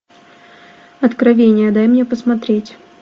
откровение дай мне посмотреть